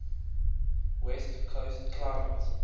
west coast climate